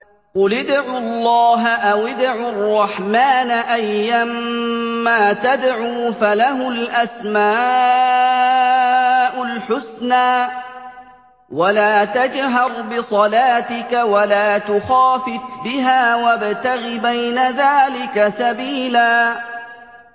قُلِ ادْعُوا اللَّهَ أَوِ ادْعُوا الرَّحْمَٰنَ ۖ أَيًّا مَّا تَدْعُوا فَلَهُ الْأَسْمَاءُ الْحُسْنَىٰ ۚ وَلَا تَجْهَرْ بِصَلَاتِكَ وَلَا تُخَافِتْ بِهَا وَابْتَغِ بَيْنَ ذَٰلِكَ سَبِيلًا